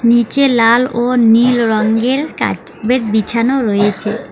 নিচে লাল ও কার্পেট বিছানো রয়েছে।